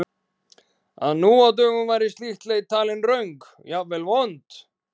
Að nú á dögum væri slík leit talin röng, jafnvel vond?